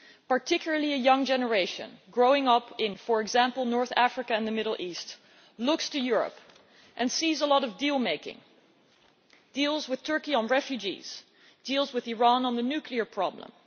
Particularly the young generation growing up in, for example, North Africa and the Middle East, looks to Europe and sees a lot of deal making deals with Turkey on refugees, deals with Iran on the nuclear problem.